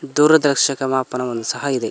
ದೂರದ್ರಕ್ಶಕ ಮಾಪನ ಒಂದು ಸಹ ಇದೆ.